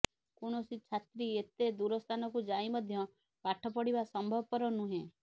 କୋୖଣସି ଛାତ୍ରୀ ଏତେ ଦୂର ସ୍ଥାନକୁ ଯାଇ ମଧ୍ୟ ପାଠ ପଢ଼ିବା ସମ୍ଭବପର ନୁହେଁ